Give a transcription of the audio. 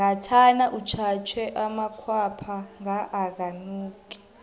ngathana utjhatjhe amakhwapha nga akanuki